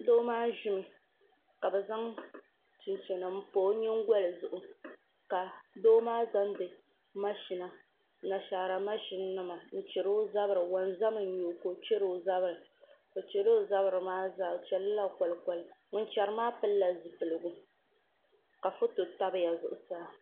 Doo maa ʒimi ka bi zaŋ chinchini n pa o nyingoli zuɣu ka doo maa zaŋdi Anashaara mashina n chɛri o zuɣu wonzam n nyɛ o ka o chɛri o zabiri o chɛla o zabiri maa zaa o chɛlila kolikoli ŋun chɛri maa pilila zipiligu ka foto tabiya zuɣusaa